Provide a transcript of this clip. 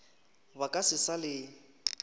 ba ka se sa le